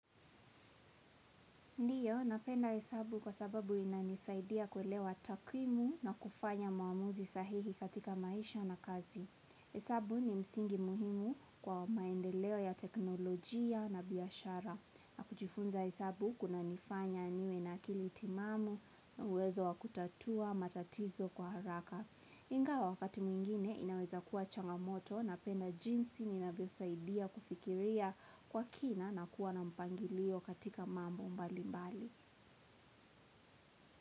Ndiyo, napenda hesabu kwa sababu inanisaidia kuelewa takwimu na kufanya maamuzi sahihi katika maisha na kazi. Hesabu ni msingi muhimu kwa maendeleo ya teknolojia na biyashara. Na kujifunza hesabu kunanifanya niwe na akili timamu na uwezo wa kutatua matatizo kwa haraka. Ingawa wakati mwingine inaweza kuwa changamoto na penda jinsi ninavyosaidia kufikiria kwa kina na kuwa na mpangilio katika mambo mbali mbali.